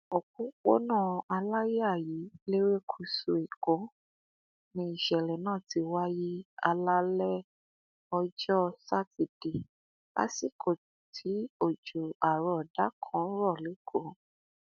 òpópónà aláyàyí lerékùṣù èkó ni ìṣẹlẹ náà ti wáyé alaalẹ ọjọ sátidé lásìkò tí òjò àrọọdá kan ń rọ lẹkọọ